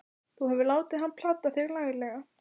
Þú hefur látið hann plata þig laglega!